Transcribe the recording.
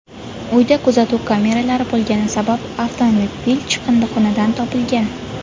Uyda kuzatuv kameralari bo‘lgani sabab avtomobil chiqindixonadan topilgan.